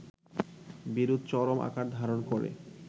বিরোধ চরম আকার ধারণ করে